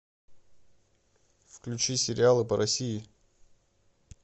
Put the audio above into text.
включи сериалы по россии